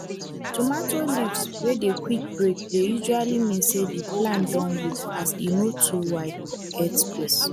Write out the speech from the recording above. tomato leave wey dey quick break dey usually mean say di plant don weak as e no too wide get space